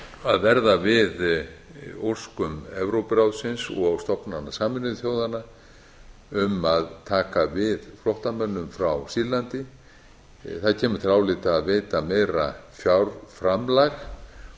að verða við óskum evrópuráðsins og stofnana sameinuðu þjóðanna um að taka við flóttamönnum frá sýrlandi það kemur til álita að veita meira